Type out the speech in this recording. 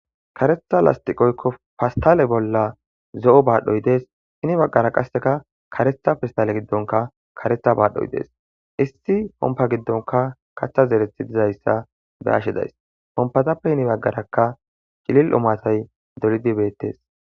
Karetha lastiqoykko fastale bolla zo'o baadhoy dees hini baggara qasseka karetha fastale giddonka karetha baadhoy dees issi pompa giddonka katha zerethi dizayssa beashe days pompatappe hini baggaraka cilil omatay dolidi beettes.